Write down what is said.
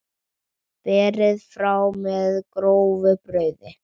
Berið fram með grófu brauði.